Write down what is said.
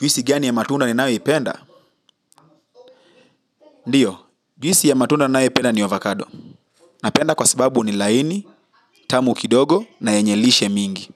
Juisi gani ya matunda niyoipenda? Ndiyo, juisi ya matunda ninayoipenda ni avocado. Napenda kwa sababu ni laini, tamu kidogo na yenye lishe mingi.